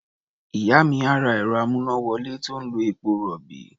Ìyá mi á ra ẹ̀rọ-amúnáwọlé tó ń lo epo-rọ̀bì.